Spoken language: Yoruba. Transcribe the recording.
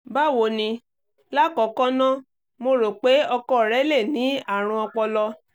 báwo ni? lákọ̀ọ́kọ́ ná mo rò pé ọkọ rẹ lè ní àrùn ọpọlọ